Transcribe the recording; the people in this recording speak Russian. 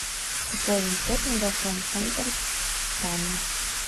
пополнить счет мегафон центр таня